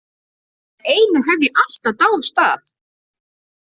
En einu hef ég alltaf dáðst að.